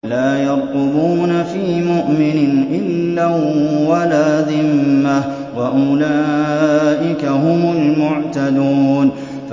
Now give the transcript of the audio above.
لَا يَرْقُبُونَ فِي مُؤْمِنٍ إِلًّا وَلَا ذِمَّةً ۚ وَأُولَٰئِكَ هُمُ الْمُعْتَدُونَ